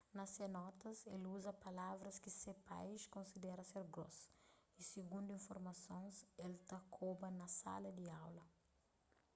na se notas el uza palavras ki se pais konsidera ser gross y sigundu informasons el ta koba na sala di aula